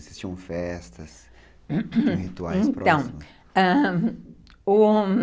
Existiam festas, rituais próximos?